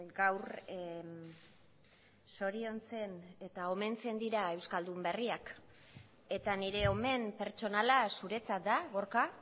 gaur zoriontzen eta omentzen dira euskaldun berriak eta nire omen pertsonala zuretzat da gorka